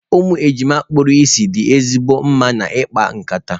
Ụmụ ejima kpuru ìsì dị ezigbo mma na ikpa nkata.